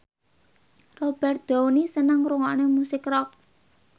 Robert Downey seneng ngrungokne musik rock